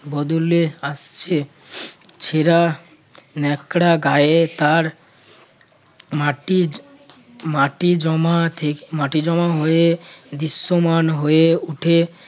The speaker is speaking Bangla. বদলে আসছে ছেড়া ন্যাকড়া গায়ে তার মাটির মাটির জমা মাটি জমা হয়ে দৃশ্যমান হয়ে উঠে।